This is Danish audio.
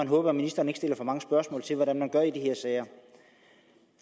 håbe at ministeren ikke stiller for mange spørgsmål til hvad man gør i de her sager